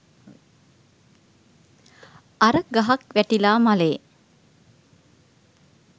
අර ගහක් වැටිලා මළේ